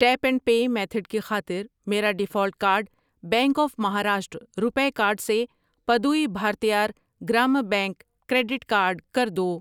Tape and pay method کی خاطر میرا default card bank of Maharashtra, RuPay card سے Puduvai Bharathiar Grama bank, credit card کر دو۔